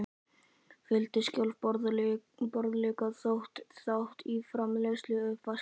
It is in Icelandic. Fjöldi sjálfboðaliða tók þátt í framreiðslu og uppvaski.